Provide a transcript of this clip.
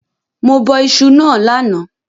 Mo bọ isu náà lánàá